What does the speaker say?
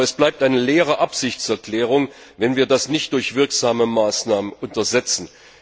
Aber das bleibt eine leere Absichtserklärung, wenn wir das nicht durch wirksame Maßnahmen unterlegen.